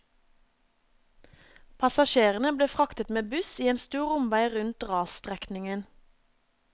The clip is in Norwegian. Passasjerene ble fraktet med buss i en stor omvei rundt rasstrekningen.